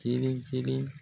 Kelen kelen